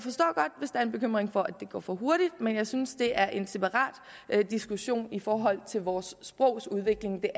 er en bekymring for at det går for hurtigt men jeg synes det er en separat diskussion i forhold til vores sprogs udvikling